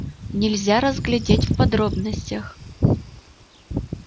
нельзя разглядеть в подробностях